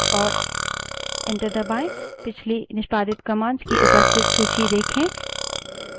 और enter दबायें पिछली निष्पादित commands की उपस्थित सूची देखें